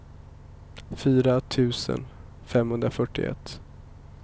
fyra tusen femhundrafyrtioett